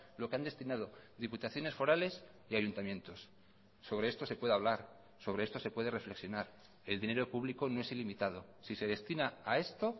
lo que han destinado diputaciones forales y ayuntamientos sobre esto se puede hablar sobre esto se puede reflexionar el dinero público no es ilimitado si se destina a esto